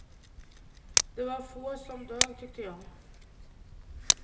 Det var få som dög tyckte jag.